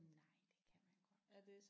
Nej det kan man godt